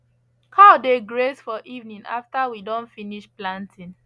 cow dey graze for evening after we don finish planting